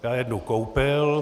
Já jednu koupil.